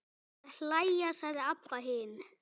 Að hlæja, sagði Abba hin.